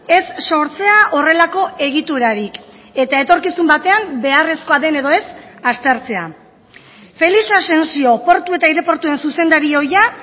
ez sortzea horrelako egiturarik eta etorkizun batean beharrezkoa den edo ez aztertzea felix asensio portu eta aireportuen zuzendari ohia